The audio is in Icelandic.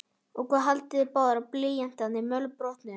Og hvað haldið þið báðir blýantarnir mölbrotnuðu!